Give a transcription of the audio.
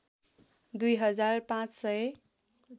दुई हजार पाँच सय